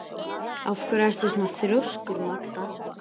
Af hverju ertu svona þrjóskur, Magda?